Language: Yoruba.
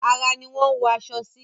Ara ni wọ́n ń wọ aṣọ sí.